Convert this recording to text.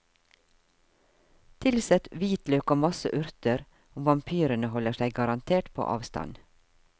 Tilsett hvitløk og masse urter og vampyrene holder seg garantert på avstand.